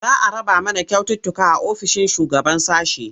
Za a raba mana kyaututtuka a ofishin shugaban sashe.